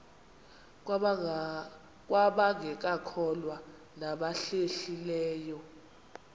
kwabangekakholwa nabahlehli leyo